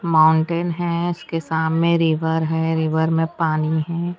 Mountain है इसके सामने रिवर है रिवर में पानी है।